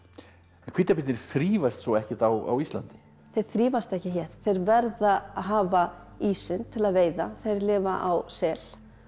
en hvítabirnir þrífast svo ekkert á Íslandi þeir þrífast ekki hér þeir verða að hafa ísinn til að veiða þeir lifa á sel